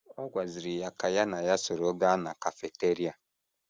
Ọ gwaziri ya ka ya na ya soro gaa na kafiteria.